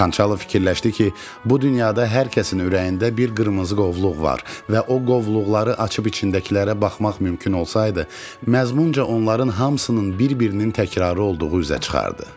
Xançalov fikirləşdi ki, bu dünyada hər kəsin ürəyində bir qırmızı qovluq var və o qovluqları açıb içindəkilərə baxmaq mümkün olsaydı, məzmunca onların hamısının bir-birinin təkrarı olduğu üzə çıxardı.